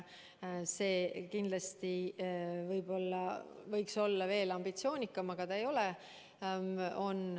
Eesmärk võiks kindlasti olla veel ambitsioonikam, aga ei ole.